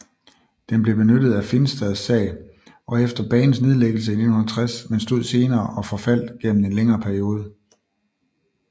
Den blev benyttet af Finstad sag efter banens nedlæggelse i 1960 men stod senere og forfaldt gennem en længere periode